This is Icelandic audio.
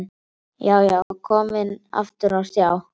Já, já, komin aftur á stjá!